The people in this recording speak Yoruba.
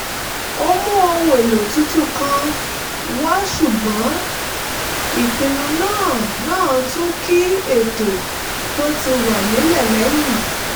ó mú ohun èlò tuntun kan wá ṣùgbọ́n ìpinnu náà náà tún kín ètò tó ti wà nílẹ̀ lẹ́yìn